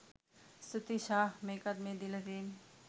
ස්තුතියි! ෂාහ්! මේකත් මේ දීල තියෙන්නේ